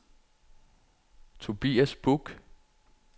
Tobias Buch